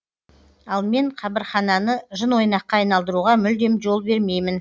ал мен қабірхананы жын ойнаққа айналдыруға мүлдем жол бермеймін